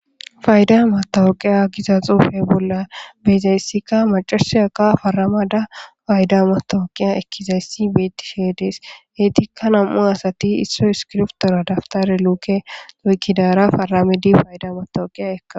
Fayida meththaweqiya gizza xuffe bolla be'izayissikka mac'assiyakka faramada fayda meththaweqiya ekkizayissa betteshe de'es heggettika nam'u asati issoy issikibirtuwara dabittara lukke oyikidara faramidi fayida meththaweqiya ekkawus.